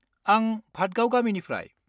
आं भादगाव गामिनिफ्राय।